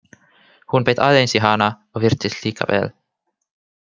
Hún beit aðeins í hana og virtist líka vel.